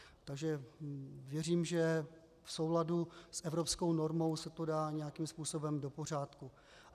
Takže věřím, že v souladu s evropskou normou se to dá nějakým způsobem do pořádku.